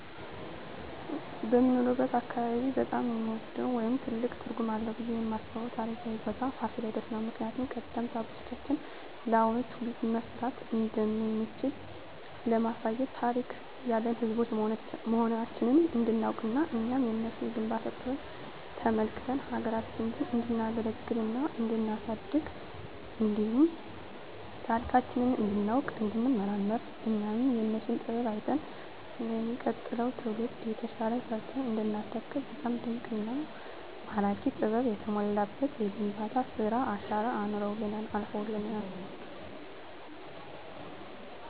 በምኖርበት አካባቢ በጣም የምወደው ወይም ትልቅ ትርጉም አለዉ ብየ የማስበው ታሪካዊ ቦታ ፋሲለደስ ነው። ምክንያቱም ቀደምት አባቶቻችን ለአሁኑ ትውልድ መስራት እንደምንችል ለማሳየት ታሪክ ያለን ህዝቦች መሆናችንን እንዲናውቅና እኛም የነሱን የግንባታ ጥበብ ተመልክተን ሀገራችንን እንዲናገለግልና እንዲናሳድግ እንዲሁም ታሪካችንን እንዲናውቅ እንዲንመራመር እኛም የነሱን ጥበብ አይተን ለሚቀጥለው ትውልድ የተሻለ ሰርተን እንዲናስረክብ በጣም ድንቅና ማራኪ ጥበብ የተሞላበት የግንባታ ስራ አሻራ አኑረውልን አልፈዋል።